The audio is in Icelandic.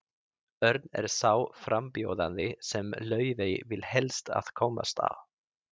Örn er sá frambjóðandi sem Laufey vill helst að komist að.